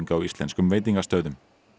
á íslenskum veitingastöðum